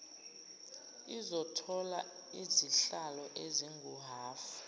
lizothola izihlalo ezinguhhafu